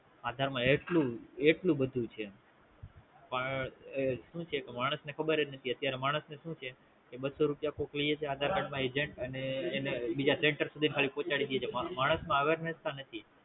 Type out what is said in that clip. આધાર માં એટલું એટલું બધું છે પણ સુ છે કે ખબરજ નથી અત્યારે માણસ ને સુ છે બસો રૂપિયા કોક લેય છે Aadhra Card માં Agent અનેબીજા Center સુધી ખાલી પહોંચાડી ડે છે માણસમાં હવે